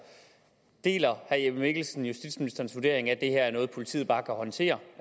deler herre jeppe mikkelsen justitsministerens vurdering af at det her er noget politiet bare kan håndtere